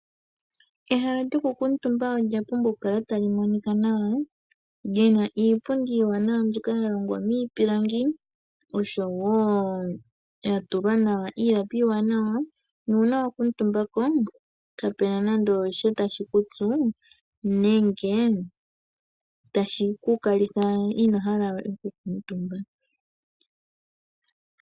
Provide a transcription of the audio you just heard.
Ehala lyoku kuntumba olya pumbwa oku kala tali monika nawa lyina iipundi iiwanawa mbyoka ya longwa miipilangi yo yatulwa nawa iilapi iiwanawa nuuna wa kutumbako kapena nande osha tashi ku tsu nenge tashi ku kalitha ino hala we oku kumtumba.